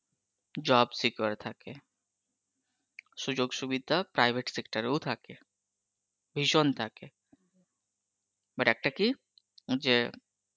job secure থাকে, সুযোগ সুবিধা private sector এও থাকে, ভিসন থাকে, but একটা কি যে ,